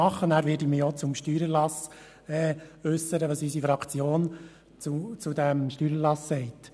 Danach werde ich Ihnen erläutern, was unsere Fraktion zum Steuererlass sagt.